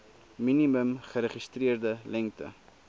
minimum geregistreerde lengte